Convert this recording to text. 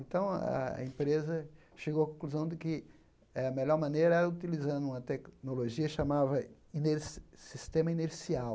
Então, a a empresa chegou à conclusão de que a melhor maneira era utilizando uma tecnologia chamava iner sistema inercial.